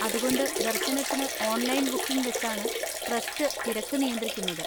അതുകൊണ്ട് ദർശനത്തിന് online booking വെച്ചാണ് ട്രസ്റ്റ് തിരക്ക് നിയന്ത്രിക്കുന്നത്.